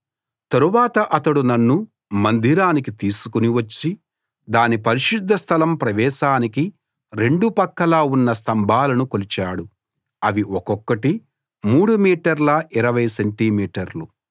తరువాత అతడు నన్ను మందిరానికి తీసుకుని వచ్చి దాని పరిశుద్ధ స్థలం ప్రవేశానికి రెండు పక్కల ఉన్న స్తంభాలను కొలిచాడు అవి ఒక్కొక్కటీ 3 మీటర్ల 20 సెంటి మీటర్లు